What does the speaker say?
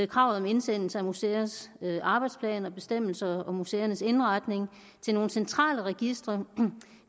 kravet om indsendelse af museers arbejdsplaner og bestemmelser om museernes indretning til nogle centrale registre